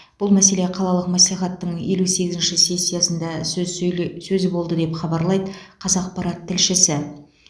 бұл мәселе қалалық мәслихаттың елу сегізінші сессиясында сөз сөйле сөз болды деп хабарлайды қазақпарат тілшісі